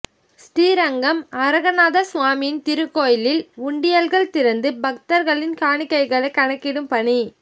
ஸ்ரீரங்கம் அரங்கநாதசுவாமி திருக்கோயிலில் உண்டியல்கள் திறந்து பக்தர்களின் காணிக்கைகள் கணக்கிடும் பணி